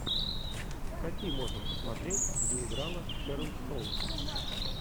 какие можно посмотреть где играла шэрон стоун